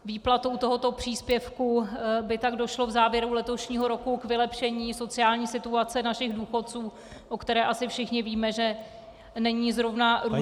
Výplatou tohoto příspěvku by tak došlo v závěru letošního roku k vylepšení sociální situace našich důchodců, o které asi všichni víme, že není zrovna růžová.